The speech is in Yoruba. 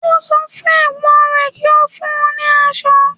Ó sọ fún Ẹ̀gbọ́n rẹ̀ kí ó fún un ní asọ